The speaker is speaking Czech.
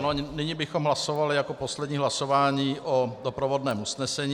Ano, nyní bychom hlasovali jako poslední hlasování o doprovodném usnesení.